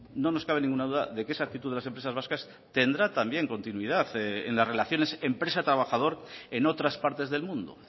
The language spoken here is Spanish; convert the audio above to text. no nos cabe ninguna duda de que esa actitud de las empresas vascas tendrá también continuidad en las relaciones empresa trabajador en otras partes del mundo